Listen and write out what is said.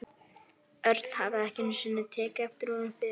Örn hafði ekki einu sinni tekið eftir honum fyrr.